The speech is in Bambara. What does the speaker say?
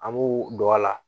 An b'u don a la